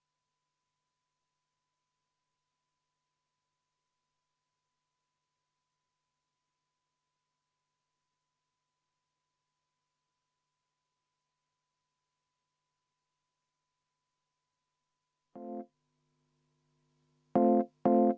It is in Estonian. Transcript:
Ma vaatasin, et kui me selle muudatusettepanekuni jõudsime, siis suur osa meie häid koalitsioonikolleege lahkus saalist.